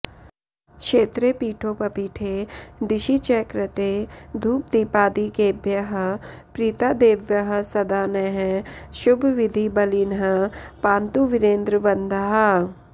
क्षेत्रे पीठोपपीठे दिशि च कृते धूपदीपादिकेभ्यः प्रीता देव्यः सदा नः शुभविधिबलिनः पांतु वीरेन्द्रवन्द्याः